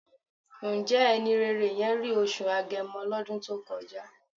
Ǹjẹ́ ẹni rere yẹn rí oṣù Agẹmọ lọ́dún tó kọjá?